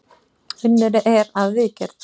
Unnið er að viðgerð